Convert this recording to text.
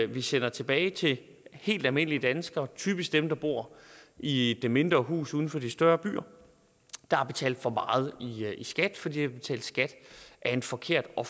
vi sender tilbage til helt almindelige danskere typisk dem der bor i det mindre hus uden for de større byer der har betalt for meget i skat fordi de har betalt skat af en forkert og